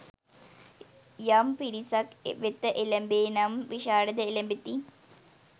යම් පිරිසක් වෙත එළැඹේ නම් විශාරදව එළැඹෙති.